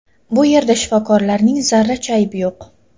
Bu yerda shifokorlarning zarracha aybi yo‘q.